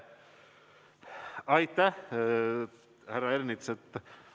Aitäh, härra Ernits!